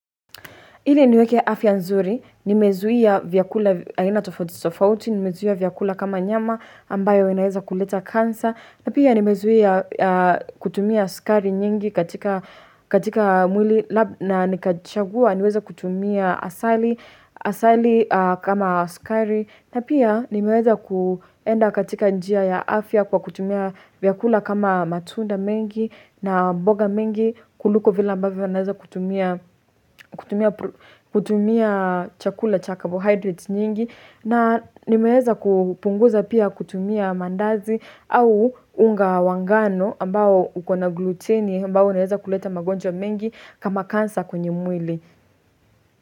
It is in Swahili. Ili niweke afya nzuri, nimezuia vyakula aina tofauti, tofauti nimezuia vyakula kama nyama ambayo inaweza kuleta cancer, na pia nimezuia kutumia sukari nyingi katika mwili na nikachagua niweza kutumia asali asali kama sukari, na pia nimeweza kuenda katika njia ya afya kwa kutumia vyakula kama matunda mengi na mboga mingi kuliko vile ambavyo naweza kutumia kutumia chakula cha cabohydrates nyingi na nimeweza kupunguza pia kutumia mandazi au unga wa ngano ambao uko na gluteni ambao naweza kuleta magonjwa mengi kama cancer kwenye mwili.